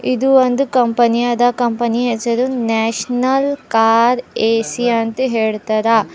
ಇದು ಒಂದು ಕಂಪನಿ ಅದ ಕಂಪನಿ ಹೆಸರು ನ್ಯಾಷನಲ್ ಕಾರ್ ಎ_ಸಿ ಅಂತ್ ಹೇಳ್ತಾರ.